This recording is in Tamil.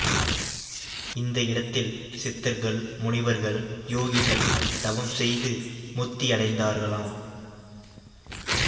இந்த இடத்தில் சித்தர்கள் முனிவர்கள் யோகிகள் தவம் செய்து முத்தியடைந்தார்களாம்